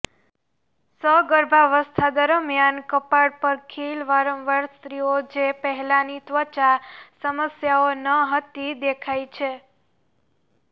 સગર્ભાવસ્થા દરમિયાન કપાળ પર ખીલ વારંવાર સ્ત્રીઓ જે પહેલાંની ત્વચા સમસ્યાઓ ન હતી દેખાય છે